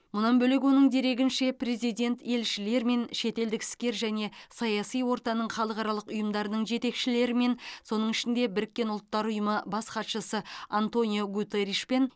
мұнан бөлек оның дерегінше президент елшілермен шетелдік іскер және саяси ортаның халықаралық ұйымдарының жетекшілерімен соның ішінде біріккен ұлттар ұйымы бас хатшысы антонио гутеришпен